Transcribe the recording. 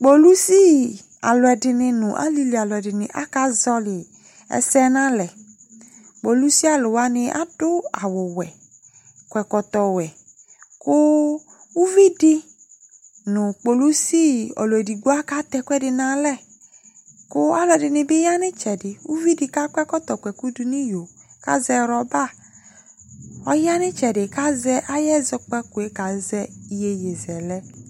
Kpolusi aluɛdini nu alili alɛdini aka zɔli ɛsɛ na lɛ kpolisi aluwani adu awu wɛ kɔ ɛkɔtɔ wɛ ku uvidi nu kpolisi ɔlu édigbo ka tɛ ɛkoedi na alɛ ku alɛdini bi ya nu itsɛdi ku uvidi akɔ kɔtɔ kɔkudu ni yo ka zɛ rɔba ɔya ni itsɛdi ka zɛ ayɛ zɔkpakué ka zɛ yéyé zɛlɛ